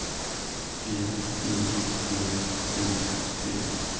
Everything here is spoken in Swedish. G I V I T